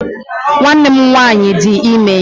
Nwanne m nwaanyị dị ime